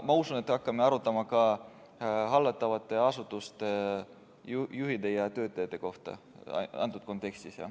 Ma usun, et me hakkame arutama ka hallatavate asutuste juhtide ja töötajate kohta antud kontekstis.